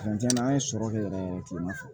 Fini tiɲɛna an ye sɔrɔ kɛ yɛrɛ kilema fɛ